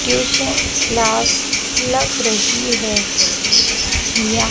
एक क्लास लग रही है या--